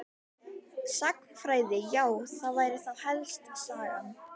Sagnfræði já það væri þá helst Sagan.